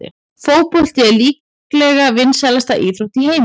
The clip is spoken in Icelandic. Fótbolti er líklega vinsælasta íþrótt í heimi.